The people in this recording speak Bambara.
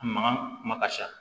A mankan kuma ka ca